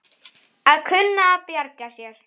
Við skulum reyna.